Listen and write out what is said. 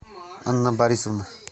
анна борисовна